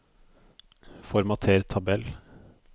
Formater tabell